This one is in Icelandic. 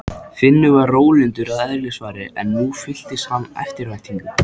Finnur var rólyndur að eðlisfari en nú fylltist hann eftirvæntingu.